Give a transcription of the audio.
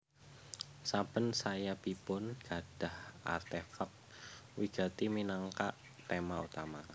Saben sayapipun gadhah artefak wigati minangka tema utama